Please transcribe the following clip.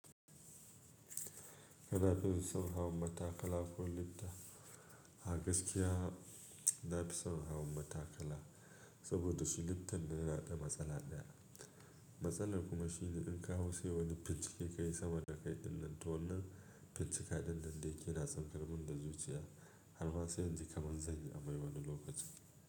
Kana iya hawa matakala ko lifta. A gaskiya na fi son hawa matakala, saboda shi liftan da na da matsala ɗaya. Matsalar kuma shi ne in ka hau sai wani fici ke ka yayi sama da kai ɗinnan, to wannan fici ka ɗinnan da yake na tsankar min da zuciya har ma sai inji kamar zan yi amai wani lokaci.